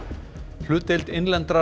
hlutdeild innlendrar